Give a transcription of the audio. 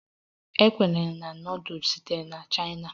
A kwenyere na nudul sitere na chaina